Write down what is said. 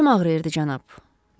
Dişim ağrıyırdı, cənab.